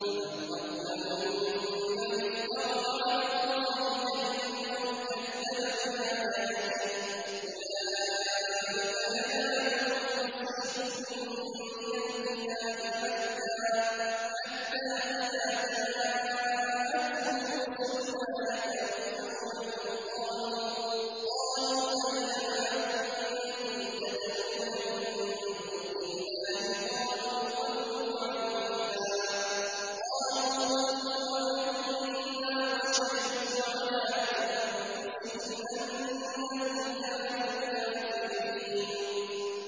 فَمَنْ أَظْلَمُ مِمَّنِ افْتَرَىٰ عَلَى اللَّهِ كَذِبًا أَوْ كَذَّبَ بِآيَاتِهِ ۚ أُولَٰئِكَ يَنَالُهُمْ نَصِيبُهُم مِّنَ الْكِتَابِ ۖ حَتَّىٰ إِذَا جَاءَتْهُمْ رُسُلُنَا يَتَوَفَّوْنَهُمْ قَالُوا أَيْنَ مَا كُنتُمْ تَدْعُونَ مِن دُونِ اللَّهِ ۖ قَالُوا ضَلُّوا عَنَّا وَشَهِدُوا عَلَىٰ أَنفُسِهِمْ أَنَّهُمْ كَانُوا كَافِرِينَ